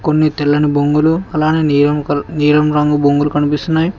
కొన్ని తెల్లని బొంగులు అలానే నీలం రంగు బొంగులు కనిపిస్తున్నాయి.